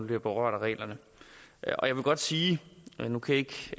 bliver berørt af reglerne og jeg vil godt sige nu kan jeg